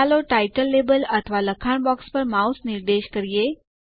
ચાલો title label અથવા લખાણ બોક્સ પર માઉસ નિર્દેશ કરીએ